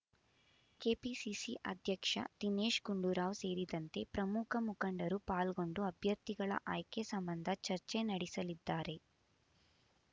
KPCC ಅಧ್ಯಕ್ಷ ದಿನೇಶ್‌ಗುಂಡೂರಾವ್ ಸೇರಿದಂತೆ ಪ್ರಮುಖ ಮುಖಂಡರು ಪಾಲ್ಗೊಂಡು ಅಭ್ಯರ್ಥಿಗಳ ಆಯ್ಕೆ ಸಂಬಂಧ ಚರ್ಚೆ ನಡೆಸಲಿದ್ದಾರೆ